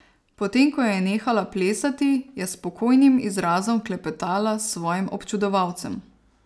Potem ko je nehala plesati, je s spokojnim obrazom klepetala s svojim občudovalcem.